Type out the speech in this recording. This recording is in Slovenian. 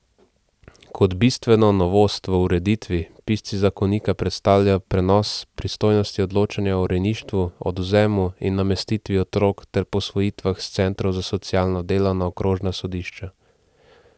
Kot bistveno novost v ureditvi pisci zakonika predstavljajo prenos pristojnosti odločanja o rejništvu, odvzemu in namestitvi otrok ter posvojitvah s centrov za socialno delo na okrožna sodišča.